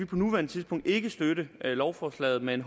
på nuværende tidspunkt ikke kan støtte lovforslaget men